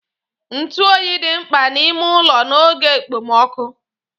Ntụ oyi dị mkpa n'ime ụlọ n'oge ekpomokụ